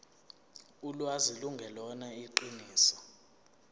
ulwazi lungelona iqiniso